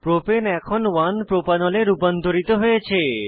propane এখন 1 propanol এ রূপান্তরিত হয়েছে